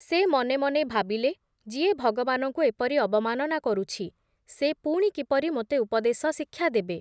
ସେ ମନେ ମନେ ଭାବିଲେ, ଯିଏ ଭଗବାନଙ୍କୁ ଏପରି ଅବମାନନା କରୁଛି ସେ ପୁଣି କିପରି ମୋତେ ଉପଦେଶ-ଶିକ୍ଷା ଦେବେ ।